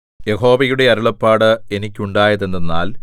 യഹോവയുടെ അരുളപ്പാട് എനിക്കുണ്ടായത് എന്തെന്നാൽ